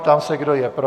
Ptám se, kdo je pro.